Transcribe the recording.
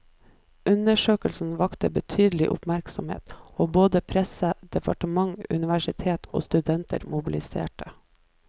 Undersøkelsen vakte betydelig oppmerksomhet, og både presse, departement, universitet og studenter mobiliserte.